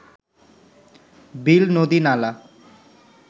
বিল নদী নালা